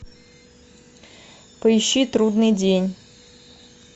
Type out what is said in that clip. поищи трудный день